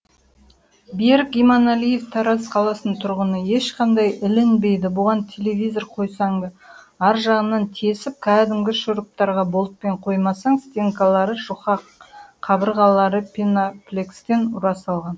берік иманалиев тараз қаласының тұрғыны ешқандай ілінбейді бұған телевизор қойсаң да ары жағынан тесіп кәдімгі шуруптарға болтпен қоймасаң стенкалары жұқа қабырғалары пеноплекстен ұра салған